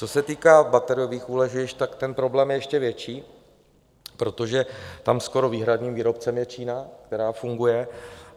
Co se týká bateriových úložišť, tak ten problém je ještě větší, protože tam skoro výhradním výrobcem je Čína, která funguje.